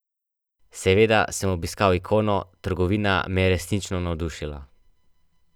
Seveda sem obiskal Ikono, trgovina me je resnično navdušila.